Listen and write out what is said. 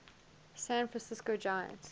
san francisco giants